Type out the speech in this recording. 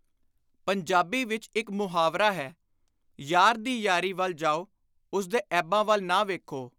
ਪੰਜਾਬੀ ਵਿਚ ਇਕ ਮੁਹਾਵਰਾ ਹੈ, “ਯਾਰ ਦੀ ਯਾਰੀ ਵੱਲ ਜਾਓ, ਉਸਦੇ ਐਬਾਂ ਵੱਲ ਨਾ ਵੇਖੋ।